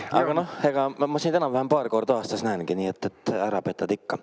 Aga noh, ma sind enam-vähem paar korda aastas näengi, nii et ära petad ikka.